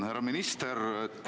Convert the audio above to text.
Härra minister!